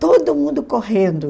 Todo mundo correndo.